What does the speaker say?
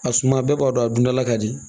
A suma bɛɛ b'a dɔn a dundala ka di